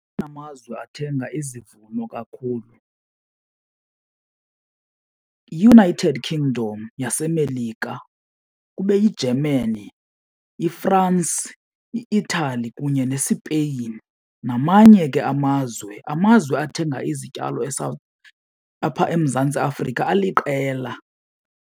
Amazwe athenga izivuno kakhulu yiUnited Kingdom yaseMelika, kube yiGermany, iFrance, i-Italy kunye neSpain, namanye ke amazwe. Amazwe athenga izityalo apha eMzantsi Afrika aliqela.